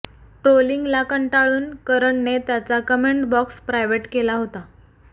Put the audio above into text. ट्रोलिंगला कंटाळून करणने त्याचा कमेंट बॉक्स प्रायव्हेट केला होता